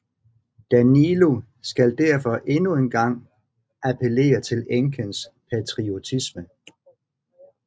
Danilo skal derfor endnu engang appellere til enkens patriotisme